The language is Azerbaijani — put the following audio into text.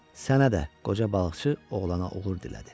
Sənə də, qoca balıqçı oğlana uğur dilədi.